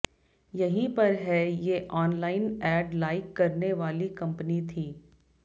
यहीं पर है ये ऑनलाइन एड लाइक करने वाली कम्पनी थी